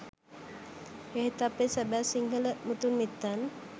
එහෙත් අපේ සැබෑ සිංහල මුතුන් මිත්තන්